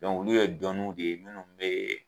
olu ye dɔnni de ye munnu be